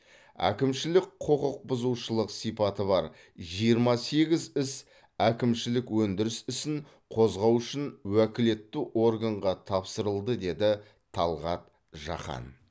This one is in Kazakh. әкімшілік құқықбұзушылық сипаты бар жиырма сегіз іс әкімшілік өндіріс ісін қозғау үшін уәкілетті органға тапсырылды деді талғат жақан